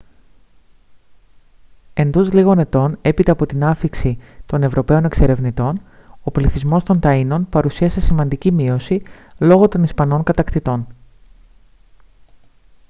εντός λίγων ετών έπειτα από την άφιξη των ευρωπαίων εξερευνητών ο πληθυσμός των ταΐνων παρουσίασε σημαντική μείωση λόγω των ισπανών κατακτητών